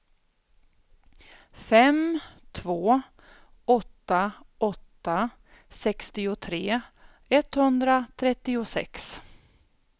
fem två åtta åtta sextiotre etthundratrettiosex